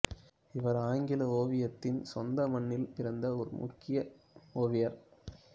இவர் ஆங்கில ஓவியத்தின் சொந்த மண்ணில் பிறந்த முக்கிய ஓவியர்